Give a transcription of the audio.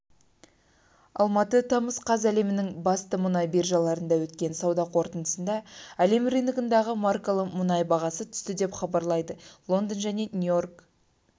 алматы тамыз қаз әлемнің басты мұнай биржаларында өткен сауда қортындысында әлем рыногындағы маркалы мұнай бағасы түсті деп хабарлайды лондон және нью-йорк